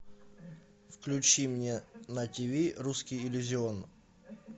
включи мне на тиви русский иллюзион